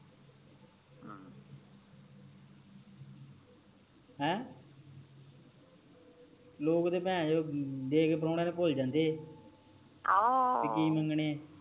ਹੈਂ ਲੋਗ ਤਾ ਦੇਕੇ ਪ੍ਰੋਉਣੇ ਨੂੰ ਭੁੱਲ ਜਾਂਦੇ ਆ ਓਹੋ ਬੀ ਕਿ ਮੰਗਣੇ ਆ